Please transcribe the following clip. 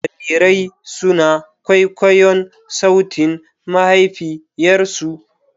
Jarirai suna kwaikwayon sautin mahaifiyarsu.